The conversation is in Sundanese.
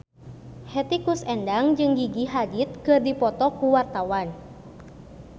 Hetty Koes Endang jeung Gigi Hadid keur dipoto ku wartawan